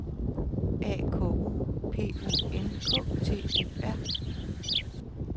A K U P U N K T U R